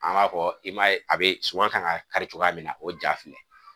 An b'a fɔ i m'a ye a be suman kan ŋa kari cogoya min na o ja filɛ.